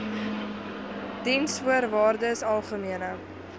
diensvoorwaardesalgemene